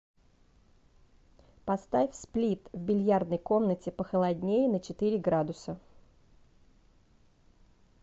поставь сплит в бильярдной комнате похолоднее на четыре градуса